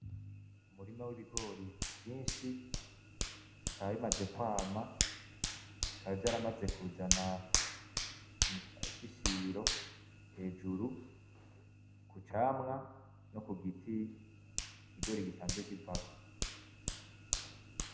Umurima w’ibigori vyinshi bikaba bimaze kwama, bikaba vyaramaze kuzana ishishiro hejuru ku camwa no ku giti ikigori gisanzwe kivako.